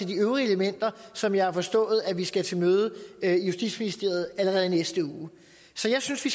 de øvrige elementer som jeg forstår vi skal til møde i justitsministeriet om allerede i næste uge så jeg synes vi